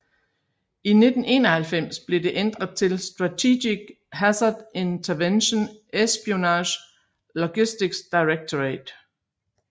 I 1991 blev det ændret til Strategic Hazard Intervention Espionage Logistics Directorate